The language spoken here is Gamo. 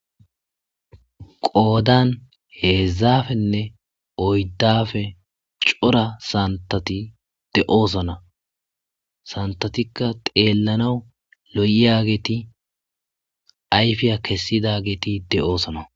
Qodani hezdzdappenne oyidappe cora santati de'osona santatikka xelanaw lo'iyageti ayifiya kesidaget de'osona